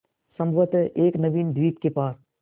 संभवत एक नवीन द्वीप के पास